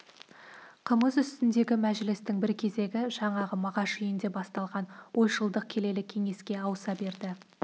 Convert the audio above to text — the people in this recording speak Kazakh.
қымыз үстіндегі мәжілістің бір кезегі жаңағы мағаш үйінде басталған ойшылдық келелі кеңеске ауыса берді